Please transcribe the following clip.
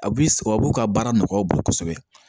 A b'i sɔbu ka baara nɔgɔya u bolo kosɛbɛ